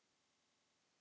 Setjið yfir kjötið.